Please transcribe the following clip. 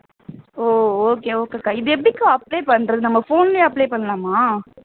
ஓ okay okay அக்கா இது எப்படிக்கா apply பண்றது நம்ம phone லயே apply பண்ணலாமா